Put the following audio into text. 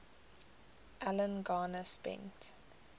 alan garner spent